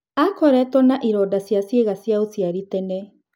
Aakoretwo na ironda cia ciĩga cia ũciari tene.